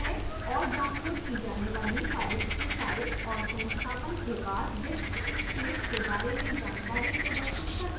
और downloaded की जाने वाली files के size और संस्थापन के बाद disk space के बारे में जानकारी प्रदर्शित करता है